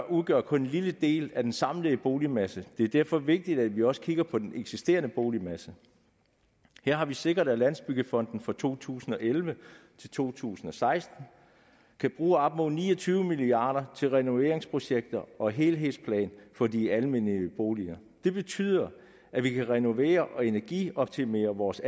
udgør kun en lille del af den samlede boligmasse det er derfor vigtigt at vi også kigger på den eksisterende boligmasse her har vi sikret at landsbyggefonden fra to tusind og elleve til to tusind og seksten kan bruge op mod ni og tyve milliard kroner til renoveringsprojekter og helhedsplaner for de almene boliger det betyder at vi kan renovere og energioptimere vores